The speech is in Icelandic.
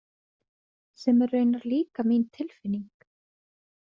Sem er raunar líka mín tilfinning.